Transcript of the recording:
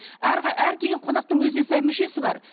әр келген қонақтын өзіне сай мүшесі бар